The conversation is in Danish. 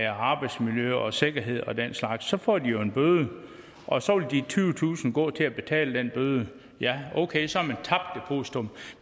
arbejdsmiljø og sikkerhed og den slags får de jo en bøde og så vil de tyvetusind kroner gå til at betale den bøde ja okay så